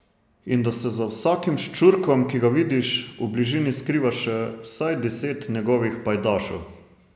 In da se za vsakim ščurkom, ki ga vidiš, v bližini skriva še vsaj deset njegovih pajdašev.